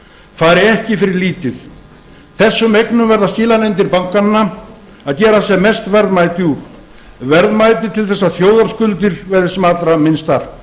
fari ekki fyrir lítið þessum eignum verða skilanefndir bankanna að gera sem mest verðmæti úr verðmæti til þess að þjóðarskuldir verði sem allra minnstar